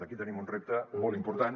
aquí tenim un repte molt important